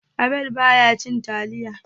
Abel ba ya cin taliya